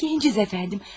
Biz gənciz əfəndim.